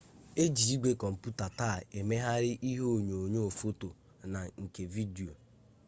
eji igwe komputa taa emeghari ihe onyonyo foto na nke vidio